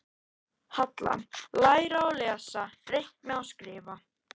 Halla: Læra að lesa, reikna og skrifa.